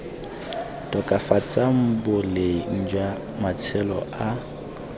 tokafatsang boleng jwa matshelo a